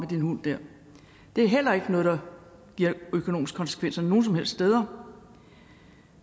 din hund det er heller ikke noget der har økonomiske konsekvenser nogen som helst steder